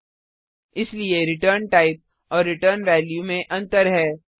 इसलिए return type return प्रकार और रिटर्न वैल्यू रिटर्न वेल्यू में अंतर है